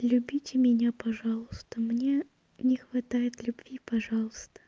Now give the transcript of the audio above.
любите меня пожалуйста мне не хватает любви пожалуйста